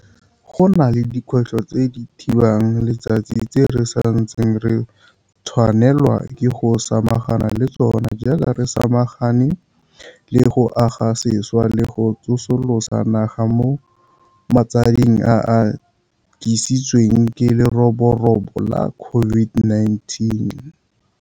Go na le dikgwetlho tse di thibang letsatsi tse re sa ntseng re tshwanelwa ke go samagana le tsona jaaka re samagane le go aga sešwa le go tsosolosa naga mo matsading a a tlisitsweng ke leroborobo la COVID-19.